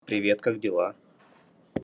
привет как дела